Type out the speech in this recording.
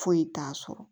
Foyi t'a sɔrɔ